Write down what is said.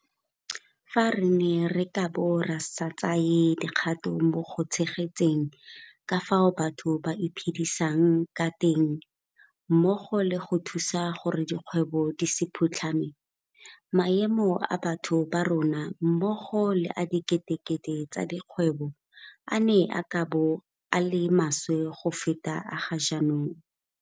Fa re ne re ka bo re sa tsaya dikgato mo go tshegetseng ka fao batho ba iphedisang ka teng mmogo le go thusa gore dikgwebo di se phutlhame, maemo a batho ba rona mmogo le a diketekete tsa dikgwebo a ne a ka bo a le maswe go feta a ga jaanong.